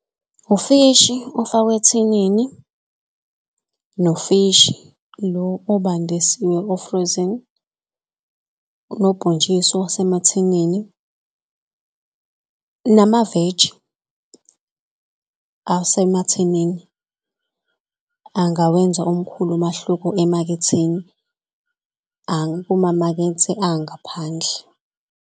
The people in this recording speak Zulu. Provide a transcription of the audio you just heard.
Ufishi ofakwe ethinini nofishi lo obandisiwe ofrizile. Nobhontshisi wasemathinini namaveji asemathinini angawenza omkhulu umahluko emaketheni kumamakethe angaphandle.